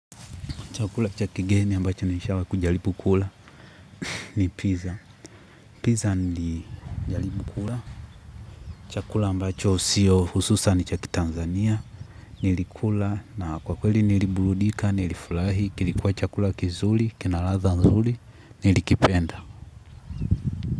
Chakula cha kigeni ambacho nishawai kujaribu kula ni pizza. Pizza nili jaribu kula. Chakula ambacho sio hususani cha kitanzania. Nilikula na kwa kweli niliburudika, nilifurahi, kilikuwa chakula kizuri, kina ladha nzuri, nilikipenda.